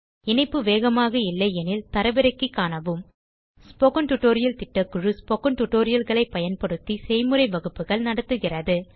இணைப்பு வேகமாக இல்லையெனில் தரவிறக்கி காணவும் ஸ்போக்கன் டியூட்டோரியல் திட்டக்குழு ஸ்போக்கன் tutorial களைப் பயன்படுத்தி செய்முறை வகுப்புகள் நடத்துகிறது